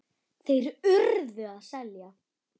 Þeir URÐU að selja.